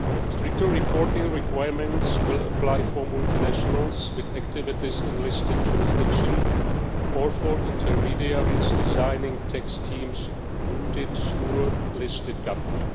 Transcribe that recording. Stricter reporting requirements will apply for multinationals with activities in listed jurisdictions or for intermediaries designing tax schemes routed through a listed country.